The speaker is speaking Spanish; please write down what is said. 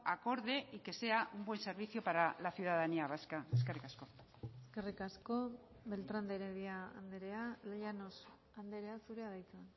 acorde y que sea un buen servicio para la ciudadanía vasca eskerrik asko eskerrik asko beltrán de heredia andrea llanos andrea zurea da hitza